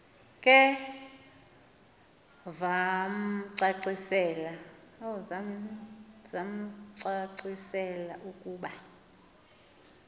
ke vamcacisela ukuba